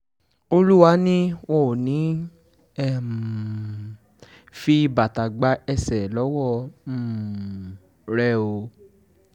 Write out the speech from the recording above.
olúwa ni wọn ò ní í um fi bàtà gba ẹ̀ṣẹ̀ lọ́wọ́ um rẹ̀ o